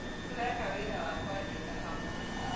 Tũraeka wĩra wa kũandika hamwe